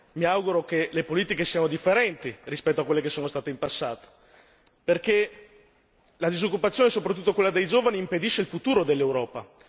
mi auguro che le politiche siano differenti, rispetto a quelle che sono state in passato, perché la disoccupazione soprattutto quella dei giovani impedisce il futuro dell'Europa.